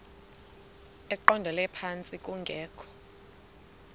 eqondele phantsi kungekho